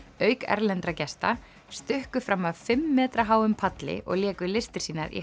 auk erlendra gesta stukku fram af fimm metra háum palli og léku listir sínar í